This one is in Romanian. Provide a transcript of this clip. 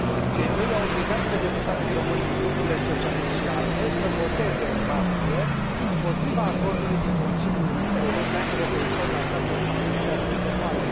Cei doi i au obligat pe deputații români din Grupurile Socialist și ALDE să voteze, în martie, împotriva Acordului din Consiliul European, referitor la Cadrul financiar multianual.